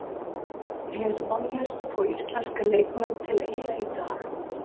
Er vonlaust að fá íslenska leikmenn til Eyja í dag?